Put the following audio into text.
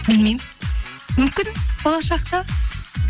білмеймін мүмкін болашақта